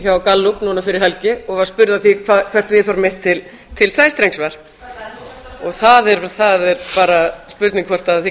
hjá gallup núna fyrir helgi og var spurð að því hvert viðhorf mitt til sæstrengs var það er bara spurning hvort við